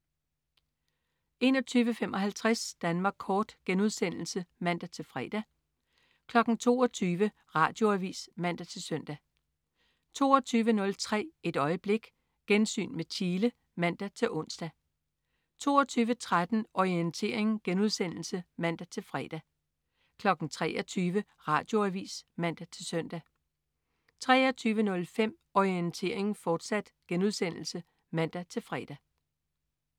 21.55 Danmark Kort* (man-fre) 22.00 Radioavis (man-søn) 22.03 Et øjeblik. Gensyn med Chile (man-ons) 22.13 Orientering* (man-fre) 23.00 Radioavis (man-søn) 23.05 Orientering, fortsat* (man-fre)